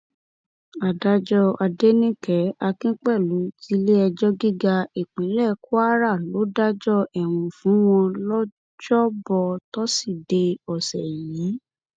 adájọ adẹnìke akínpẹlú tiléẹjọ gíga ìpínlẹ kwara ló dájọ ẹwọn fún wọn lọjọbọ tòṣìdeè ọsẹ yìí